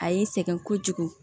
A y'i sɛgɛn kojugu